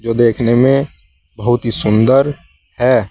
और देखने में बहोत ही सुंदर है।